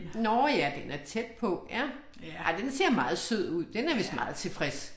Nåh ja, den er tæt på. Ja, ej den ser meget sød ud, den er vist meget tilfreds